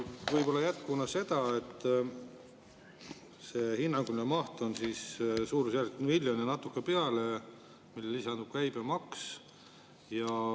Võib-olla jätkuna seda, et hinnanguline maht on suurusjärgus miljon ja natuke peale, millele lisandub käibemaks.